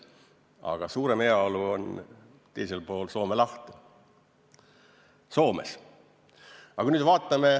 Aga suurem heaolu on teisel pool Soome lahte, Soomes.